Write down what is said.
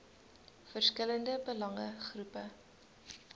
verskillende belange groepe